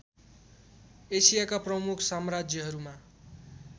एसियाका प्रमुख साम्राज्यहरूमा